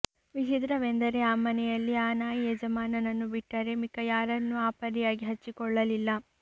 ವಿಚಿತ್ರವೆಂದರೆ ಆ ಮನೆಯಲ್ಲಿ ಆ ನಾಯಿ ಯಜಮಾನನನ್ನು ಬಿಟ್ಟರೆ ಮಿಕ್ಕ ಯರನ್ನೂ ಆ ಪರಿಯಾಗಿ ಹಚ್ಚಿಕೊಳ್ಳಲಿಲ್ಲ